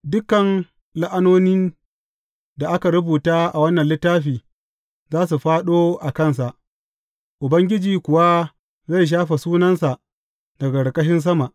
Dukan la’anonin da aka rubuta a wannan littafi za su fāɗo a kansa, Ubangiji kuwa zai shafe sunansa daga ƙarƙashin sama.